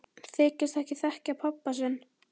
Þykist ekki þekkja pabba sinn!